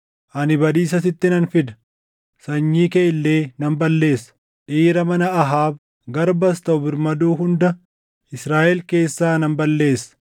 ‘Ani badiisa sitti nan fida. Sanyii kee illee nan balleessa; dhiira mana Ahaab, garbas taʼu birmaduu hunda Israaʼel keessaa nan balleessa.